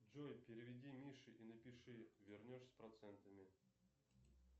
джой переведи мише и напиши вернешь с процентами